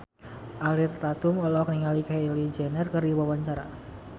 Ariel Tatum olohok ningali Kylie Jenner keur diwawancara